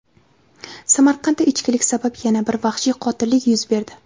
Samarqandda ichkilik sabab yana bir vahshiy qotillik yuz berdi.